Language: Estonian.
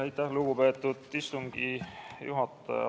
Aitäh, lugupeetud istungi juhataja!